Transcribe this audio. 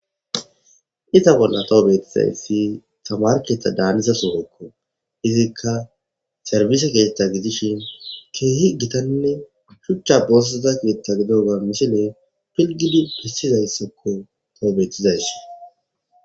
Cita bolla tawu beettizayssi tamarketha daaniza sogekko izikka sarbise keethta gidishin keehi gitanne shuchcha bosseza keetta gido ga misine pilgidi hissizayssakko tawu bethizays.